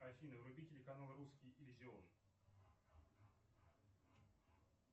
афина вруби телеканал русский иллюзион